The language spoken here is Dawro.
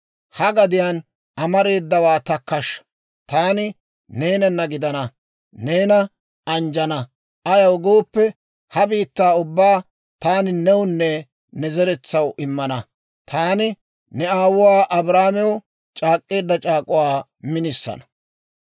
Ha gadiyaan amareedawaa takkashsha; taani neenana gidana; neena anjjana; ayaw gooppe, ha biittaa ubbaa taani newunne ne zeretsaw immana; taani ne aawuwaa Abrahaamew c'aak'k'eedda c'aak'uwaa minisana.